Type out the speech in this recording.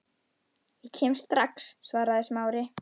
Ég kem strax- svaraði Smári.